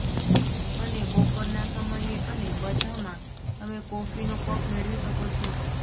અને બપોરના સમયે અને બધામાં તમે કોફીનો કપ મેળવી શકો છો